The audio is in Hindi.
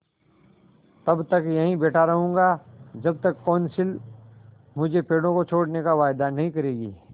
तब तक यहीं बैठा रहूँगा जब तक कौंसिल मुझे पेड़ों को छोड़ने का वायदा नहीं करेगी